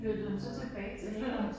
Flyttede hun så tilbage til Ærø?